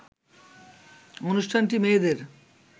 অনুষ্ঠানটি মেয়েদের